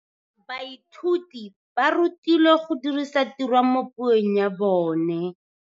Baithuti ba rutilwe go dirisa tirwa mo puong ya bone.